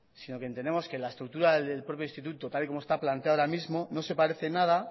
sino que entendemos que la estructura del propio instituto tal y como está planteado ahora mismo no se parece en nada